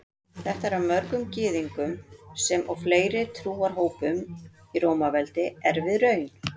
Þetta var mörgum Gyðingum sem og fleiri trúarhópum í Rómaveldi erfið raun.